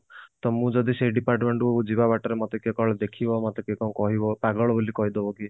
ତ ମୁଁ ଯଦି ସେଇ department କୁ ଯିବା ବାଟରେ ମତେ କିଏ କାଳେ ଦେଖିବ ମତେ କିଏ କଣ କହିବ ପାଗଳ ବୋଲି କହିଦବ କିଏ